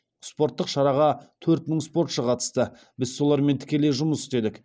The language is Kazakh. спорттық шараға төрт мың спортшы қатысты біз солармен тікелей жұмыс істедік